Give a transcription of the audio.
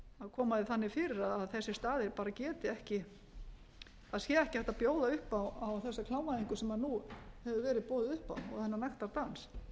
koma því þannig fyrir að þessir staðir bara geti ekki að sé ekki hægt að bjóða upp á þessa klámvæðingu sem nú hefur verið boðið upp á og þennan nektardans